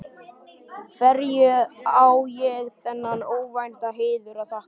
Hverju á ég þennan óvænta heiður að þakka?